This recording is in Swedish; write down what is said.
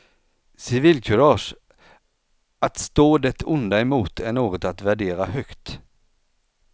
Civilkurage, att stå det onda emot, är något att värdera högt.